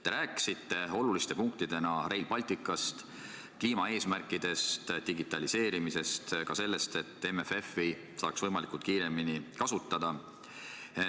Te rääkisite oluliste punktidena Rail Balticust, kliimaeesmärkidest, digitaliseerimisest, ka sellest, et MFF-i saaks võimalikult kiiresti kasutada.